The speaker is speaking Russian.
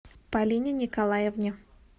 полине николаевне